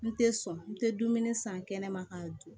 N tɛ sɔn n tɛ dumuni san kɛnɛ ma ka dun